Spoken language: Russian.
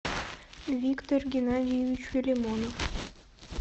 виктор геннадьевич филимонов